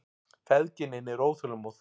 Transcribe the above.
Feðginin eru óþolinmóð.